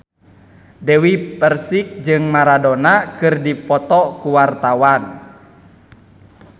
Dewi Persik jeung Maradona keur dipoto ku wartawan